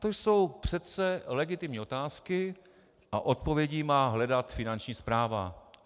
To jsou přece legitimní otázky a odpovědi má hledat Finanční správa.